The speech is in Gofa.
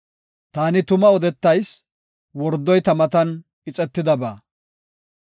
Taani tuma odetayis; wordoy ta matan ixetidaba.